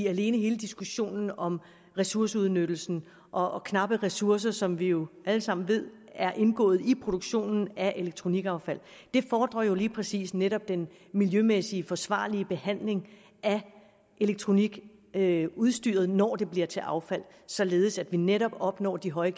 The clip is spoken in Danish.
alene hele diskussionen om ressourceudnyttelsen og og knappe ressourcer som vi jo alle sammen ved er indgået i produktionen af elektronikaffald fordrer jo lige præcis netop den miljømæssigt forsvarlige behandling af elektronikudstyret når det bliver til affald således at vi netop opnår de høje